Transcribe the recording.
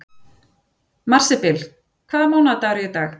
Marsibil, hvaða mánaðardagur er í dag?